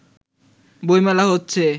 বই মেলা হচ্ছে